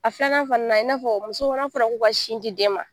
A filanan fana na i n'a fɔ muso n'a fɔra ko ka sin di den ma